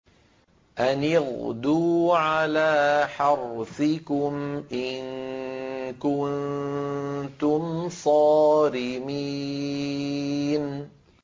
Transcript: أَنِ اغْدُوا عَلَىٰ حَرْثِكُمْ إِن كُنتُمْ صَارِمِينَ